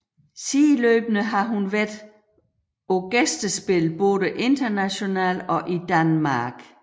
Sideløbende har hun været på gæstespil både internationalt og i Danmark